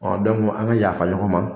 Ɔ an ka yafa ɲɔgɔn ma